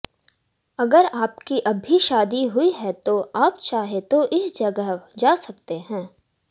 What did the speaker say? अगर आपकी अभी शादी हुई है तो आप चाहे तो इस जगह जा सकते है